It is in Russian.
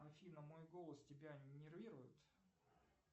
афина мой голос тебя нервирует